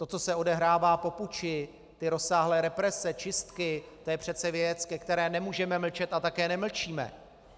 To, co se odehrává po puči, ty rozsáhlé represe, čistky, to je přece věc, ke které nemůžeme mlčet a také nemlčíme.